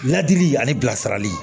Ladili ani bilasirali